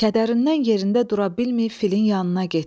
Kədərindən yerində dura bilməyib filin yanına getdi.